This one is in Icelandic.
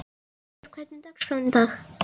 Freyþór, hvernig er dagskráin í dag?